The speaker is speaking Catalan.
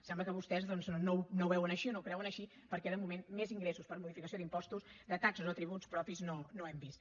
sembla que vostès doncs no ho veuen així o no ho creuen així perquè de moment més ingressos per modificació d’impostos de taxes o tributs propis no n’hem vist